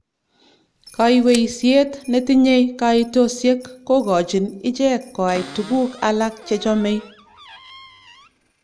"kaiweisiet netinye kaitosiek kogochin ichek koai tuguk alak chechomei "